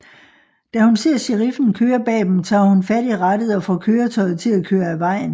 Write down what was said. Da hun ser sheriffen køre bag dem tager hun fat i rattet og får køretøjet til at køre af vejen